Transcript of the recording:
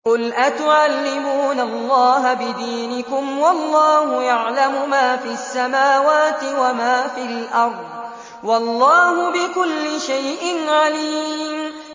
قُلْ أَتُعَلِّمُونَ اللَّهَ بِدِينِكُمْ وَاللَّهُ يَعْلَمُ مَا فِي السَّمَاوَاتِ وَمَا فِي الْأَرْضِ ۚ وَاللَّهُ بِكُلِّ شَيْءٍ عَلِيمٌ